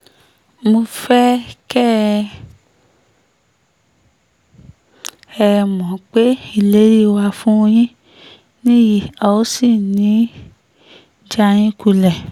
mo fẹ́ kẹ́ ẹ mọ̀ pé ìlérí wa fún yín nìyí a ò sì ní í já yín kulẹ̀